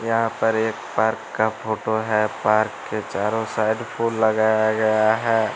यहाँ पर एक पार्क का फोटो है पार्क के चारों साइड फूल लगाया गया है।